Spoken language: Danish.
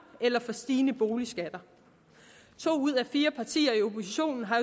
eller stigende boligskatter to ud af fire partier i oppositionen har